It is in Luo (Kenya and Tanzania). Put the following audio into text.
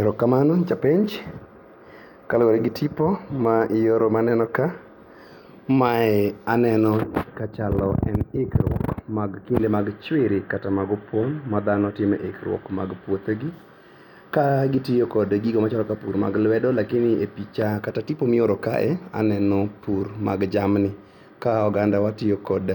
Erokamano japenj kaluore gi tipo maioro maneno ka. Mae aneno kachalo, en ikruok mag pile mag chwere kata mag opong' madhano timo e ikruok mag puothegi ka gitiyo kod gigo machalo ka pur mag lwedo lakini e picha kata tipo mioro kae aneno pur mag jamni ka oganda tiyo kod